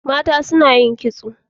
mata suna yin kitso